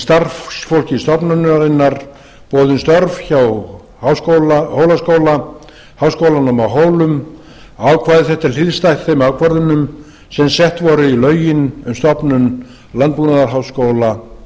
starfsfólki stofnunarinnar boðin störf hjá hólaskóla háskólanum á hólum ákvæði þetta er hliðstætt þeim ákvörðunum sem sett voru í lögin um stofnun landbúnaðarháskóla íslands